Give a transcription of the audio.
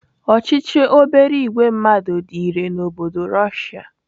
Ochichi obere ìgwè mmadụ dị irè n'obodo Russia.